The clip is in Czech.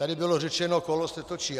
Tady bylo řečeno: Kolo se točí.